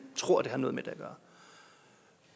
tror det har noget med